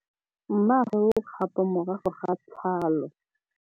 Mmagwe o kgapô morago ga tlhalô.